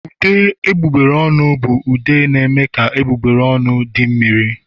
Ude egbugbere ọnụ bụ ude na-eme ka egbugbere ọnụ di mmiri